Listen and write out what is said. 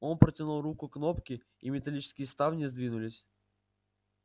он протянул руку к кнопке и металлические ставни сдвинулись